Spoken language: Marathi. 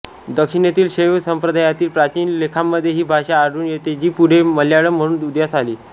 दक्षिणेतील शैव संप्रदायातील प्राचीन लेखांमध्ये ही भाषा आढळून येते जी पुढे मल्याळम म्हणून उदयास आली